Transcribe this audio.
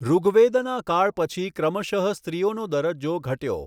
ઋગ્વેદના કાળ પછી ક્રમશઃ સ્ત્રીઓનો દરજજો ઘટયો.